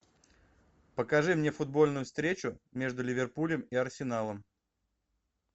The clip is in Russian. покажи мне футбольную встречу между ливерпулем и арсеналом